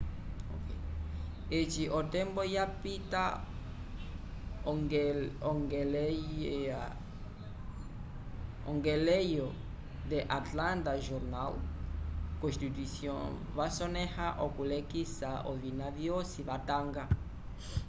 eci o tembo yapita ongeleyo the antlanta jornal constutyon vasoneya okulekisa ovina vyosi vatanga